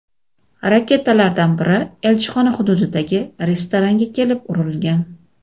Raketalardan biri elchixona hududidagi restoranga kelib urilgan.